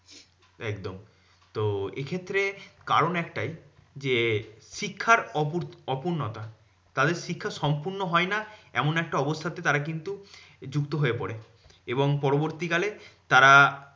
একদম তো এক্ষেত্রে কারণ একটাই যে, শিক্ষার অপূ অপূর্ন্যতা। তাদের শিক্ষা সম্পূর্ণ হয় না এমন একটা অবস্থা তে তারা কিন্তু যুক্ত হয়ে পরে। এবং পরবর্তী কালে তারা